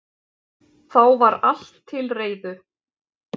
Þá var allt til reiðu